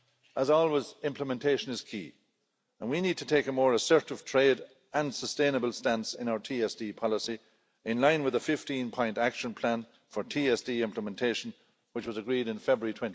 As always, implementation is key, and we need to take a more assertive trade and sustainable stance in our TSD policy, in line with the 15 point action plan for TSD implementation which was agreed in February